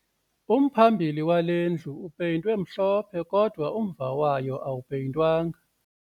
Umphambili wale ndlu upeyintwe mhlophe kodwa umva wayo awupeyintwanga